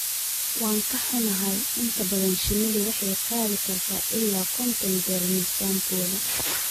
Waan ka xunnahay, inta badan shinnidu waxay qaadi kartaa ilaa konton jeer miisaankooda.